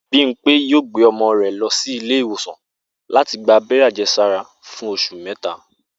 Bímpé yóò gbé o̩mo̩ rè̩ lo̩ sí ilé ìwòsàn láti gba abé̩ré̩ àje̩sára fún os̩ù méta